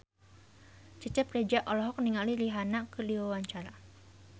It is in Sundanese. Cecep Reza olohok ningali Rihanna keur diwawancara